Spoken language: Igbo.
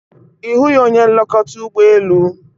Ị hụghị onye nlekọta ụgbọ elu?